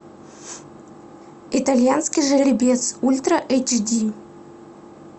итальянский жеребец ультра эйч ди